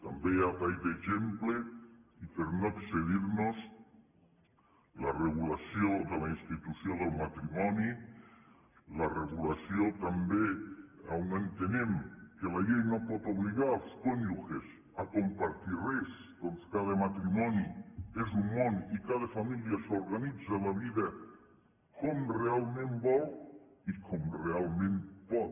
també a tall d’exemple i per no excedir nos la regulació de la institució del matrimoni la regulació també on entenem que la llei no pot obligar els cònjuges a compartir res perquè cada matrimoni és un món i cada família s’organitza la vida com realment vol i com realment pot